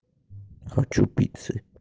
хочу пиццы